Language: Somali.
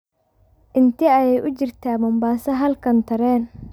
intee ayay u jirtaa mombasa halkan tareen